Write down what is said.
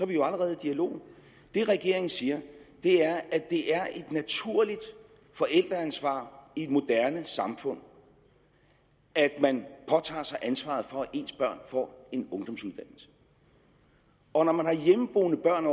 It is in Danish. vi jo allerede i dialog det regeringen siger er at det er et naturligt forældreansvar i et moderne samfund at man påtager sig ansvaret for at ens børn får en ungdomsuddannelse og når man har hjemmeboende børn